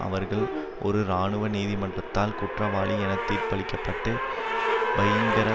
அவர்கள் ஒரு இராணுவ நீதிமன்றத்தால் குற்றவாளி என தீர்ப்பளிக்கப்பட்டு பகிங்கர